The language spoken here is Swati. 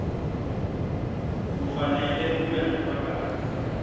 kufanele ube ngufakazi